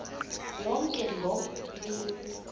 yonke loo mini